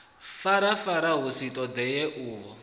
farafara hu sa ṱoḓei uho